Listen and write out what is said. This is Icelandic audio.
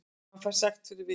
Hann fær sekt fyrir vikið